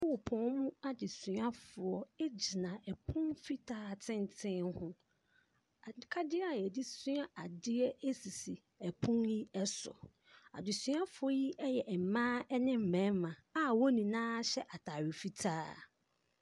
Sukuupɔ mu adesuafoɔ gyina pono fitaa tenten ho. Akadeɛ a wɔde sua adeɛ sisi pono yi so. Adesuafoɔ yi yɛ mmaa ne mmarima a wɔn nyinaa hyɛ atare fitaa.